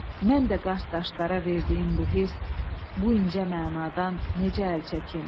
Mən də qart daşlara verdiyim bu hiss, bu incə mənadan necə əl çəkim?